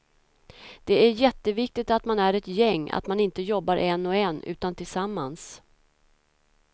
Det är jätteviktigt att man är ett gäng, att man inte jobbar en och en, utan tillsammans.